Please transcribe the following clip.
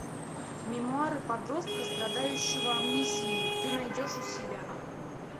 мемуары подростка страдающего амнезией ты найдешь у себя